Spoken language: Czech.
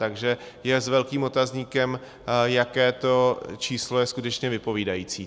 Takže je s velkým otazníkem, jaké to číslo je skutečně vypovídající.